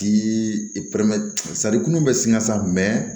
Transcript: K'i kunnu bɛ sin ka sa mɛ